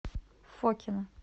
фокино